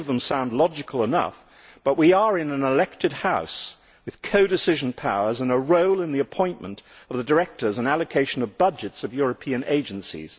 many of them sound logical enough, but we are in an elected assembly with co decision powers and a role in the appointment of the directors and allocation of the budgets of European agencies.